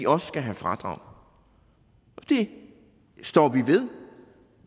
også skal have fradrag det står vi ved